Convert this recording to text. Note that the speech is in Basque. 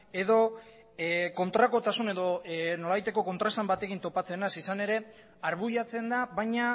edo kontrakotasun edo nolabaiteko kontraesan batekin topatzen naiz izan ere arbuiatzen da baina